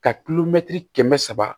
Ka kilo mɛtiri kɛmɛ saba